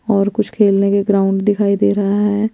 और कुछ खेलने के ग्राउंड दिखाई दे रहा है।